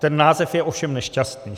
Ten název je ovšem nešťastný.